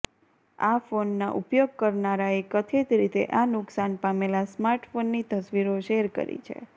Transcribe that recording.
આ ફોનના ઉપયોગ કરનારાએ કથિત રીતે આ નુકશાન પામેલા સ્માર્ટ ફોનની તસ્વીરો શેર કરી છે